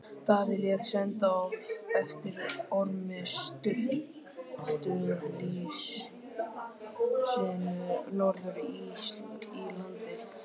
Daði lét senda eftir Ormi Sturlusyni norður í land.